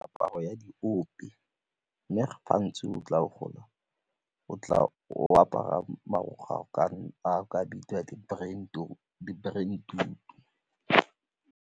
Aparo ya diope mme gantsi o tla o apara marokgwe a o ka reng a o ka bitsang di-brentwood-tu.